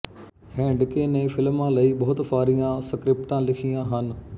Handke ਨੇ ਫਿਲਮਾਂ ਲਈ ਬਹੁਤ ਸਾਰੀਆਂ ਸਕ੍ਰਿਪਟਾਂ ਲਿਖੀਆਂ ਹਨ